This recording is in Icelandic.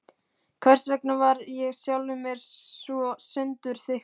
Hversvegna var ég sjálfum mér svo sundurþykkur?